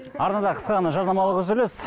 арнада қысқа ғана жарнамалық үзіліс